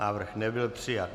Návrh nebyl přijat.